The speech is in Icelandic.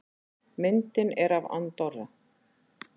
Myndin er af Andorra.